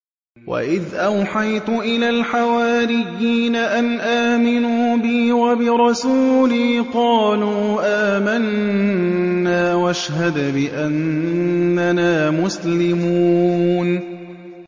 وَإِذْ أَوْحَيْتُ إِلَى الْحَوَارِيِّينَ أَنْ آمِنُوا بِي وَبِرَسُولِي قَالُوا آمَنَّا وَاشْهَدْ بِأَنَّنَا مُسْلِمُونَ